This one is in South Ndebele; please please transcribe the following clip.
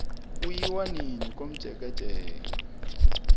kuyiwa nini komjekejeke